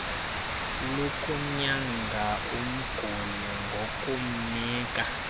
lokunyanga umguli ngokumnika